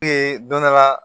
don dɔ la